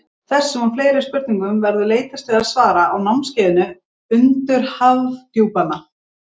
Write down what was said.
þessum og fleiri spurningum verður leitast við að svara á námskeiðinu undur hafdjúpanna